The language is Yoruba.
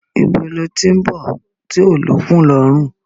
Ibo lo tí ń bọ̀ tí ó lókun lọrun